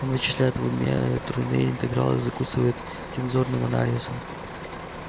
он вычисляет в уме тройные интегралы и закусывает тензорным анализом